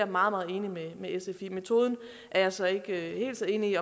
meget meget enig med sf i metoden er jeg så ikke helt så enig